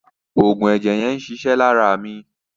Òògùn ẹ̀jẹ̀ yẹn ń ṣiṣẹ́ lára mi.